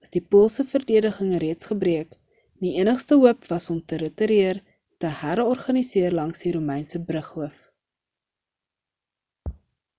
was die poolse verdediging reeds gebreek en die enigste hoop was om te ritireer en te her-organiseer langs die romeinse brughoof